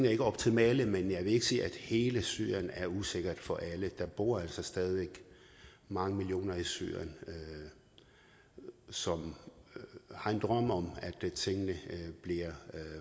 er ikke optimale men jeg vil ikke sige at hele syrien er usikker for alle der bor altså stadig væk mange millioner i syrien som har en drøm om at tingene bliver